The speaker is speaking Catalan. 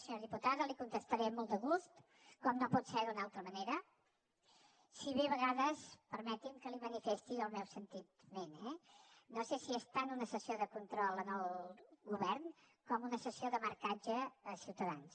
senyora diputada li contestaré amb molt de gust com no pot ser d’una altra manera si bé a vegades permeti’m que li manifesti el meu sentiment eh no sé si és tant una sessió de control al govern com una sessió de marcatge a ciutadans